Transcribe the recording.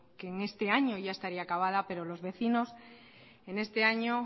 que en este año ya estaría acabada pero los vecinos en este año